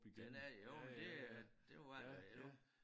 Den er jo men det er det var den da jo